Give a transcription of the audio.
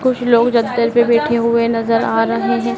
कुछ लोग चद्दर पर बैठे हुए नज़र आ रहे है।